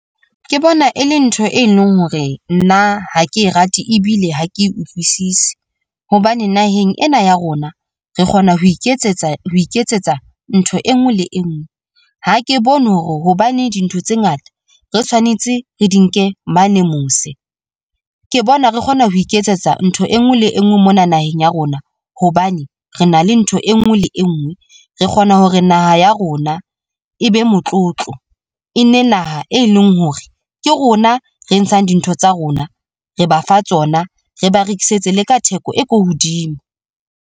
Ke bona e le ntho e leng hore nna ha ke rate ebile ha ke utlwisise hobane naheng ena ya rona re kgona ho iketsetsa ho iketsetsa ntho enngwe le enngwe, ha ke bone hore hobane dintho tse ngata re tshwanetse re di nke mane mose. Ke bona re kgona ho iketsetsa ntho enngwe le enngwe mona naheng ya rona hobane re na le ntho e nngwe le e nngwe re kgona hore naha ya rona e be motlotlo e nne naha e leng hore ke rona re ntshang dintho tsa rona, re ba fa tsona re ba rekisetse le ka theko e ko hodimo.